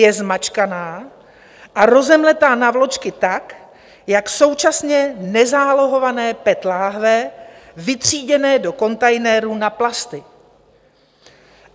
Je zmačkána a rozemleta na vločky tak jak současně nezálohované PET láhve vytříděné do kontejnerů na plasty.